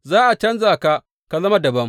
Za a canja ka ka zama dabam.